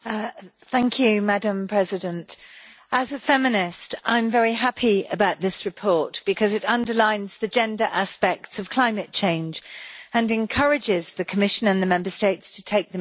Madam President, as a feminist I am very happy about this report because it underlines the gender aspects of climate change, and encourages the Commission and the Member States to take them into account.